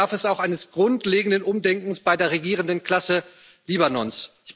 Aber dafür bedarf es auch eines grundlegenden Umdenkens bei der regierenden Klasse Libanons.